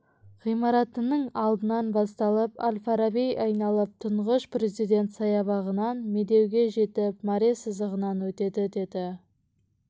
ғимарытының алдынан басталып әл-фараби айналып тұңғыш президент саябағынан медеу ге жетіп мәре сызығынан өтеді деді